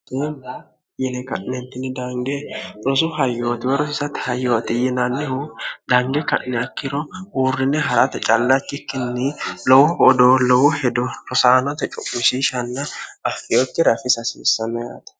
yine ka'neentini dange rosu hayyootiwe rosisati hayyooxi yinannihu dange ka'ni akkiro huurrine harata callachikkinni lowo odoo lowo hedo rosaanota cu'mishishanna affiyokki rafisa hasiissameate